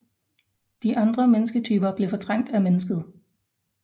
De andre mennesketyper blev fortrængt af mennesket